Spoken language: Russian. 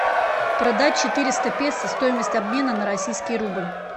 продать четыреста песо стоимость обмена на российский рубль